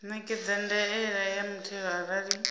ṋekedza ndaela ya muthelo arali